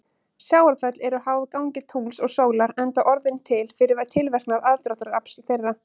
Sjávarföll eru háð gangi tungls og sólar enda orðin til fyrir tilverknað aðdráttarafls þeirra.